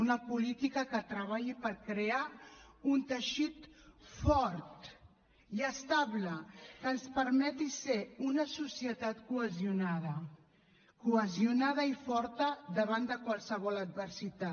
una política que treballi per crear un teixit fort i estable que ens permeti ser una societat cohesionada cohesionada i forta davant de qualsevol adversitat